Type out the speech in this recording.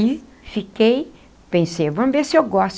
E fiquei, pensei, vamos ver se eu gosto.